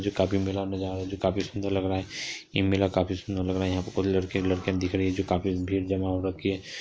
जो काफी मेला मेला जो काफी सुंदर लग रहा है ये मेला काफी सुंदर लग रहा है यहा पे कुुछ लड़के लड़किया दिख रहे हैं जो काफी भीड़ जमा हो रखी हैं।